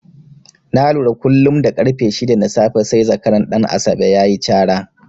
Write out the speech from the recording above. Na lura kullum da ƙarfe shida na safe sai zakaran Ɗan Asabe ya yi cara.